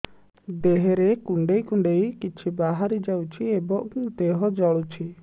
ଦେହରେ କୁଣ୍ଡେଇ କୁଣ୍ଡେଇ କିଛି ବାହାରି ଯାଉଛି ଏବଂ ଦେହ ଜଳୁଛି